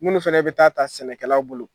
Munu fana bɛ taa ta sɛnɛkɛlaw bolo.